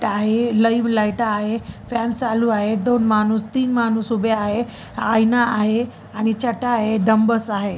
आहे live light आहे fan चालू आहे दोन माणूस तीन माणूस उभे आहे आईंना आहे आणि छटा आहे डंबेल्स आहे.